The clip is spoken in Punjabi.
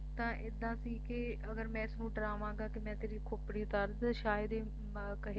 ਤਾਂ ਐਦਾਂ ਸੀ ਕਿ ਅਗਰ ਮੈਂ ਇਸਨੂੰ ਡਰਾਵਾਂਗਾ ਕਿ ਮੈਂ ਤੇਰੀ ਖੋਪੜੀ ਉਤਾਰ ਦਊਂਗਾ ਤਾਂ ਸ਼ਾਇਦ ਇਹ ਕਹੇਗਾ